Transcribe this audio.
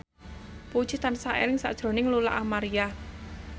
Puji tansah eling sakjroning Lola Amaria